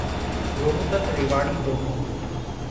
Rohtak Rewari demo